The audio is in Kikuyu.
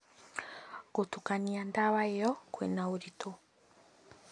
Gũtukania ndawa ĩyo kwĩna ũritũ